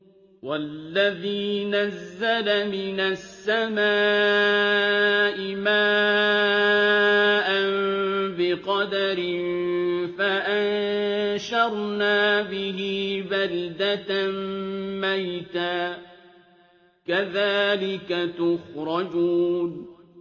وَالَّذِي نَزَّلَ مِنَ السَّمَاءِ مَاءً بِقَدَرٍ فَأَنشَرْنَا بِهِ بَلْدَةً مَّيْتًا ۚ كَذَٰلِكَ تُخْرَجُونَ